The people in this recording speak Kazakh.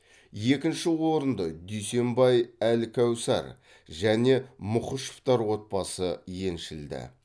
екінші орынды дүйсенбай әлкәусар және мұхышевтар отбасы еншілді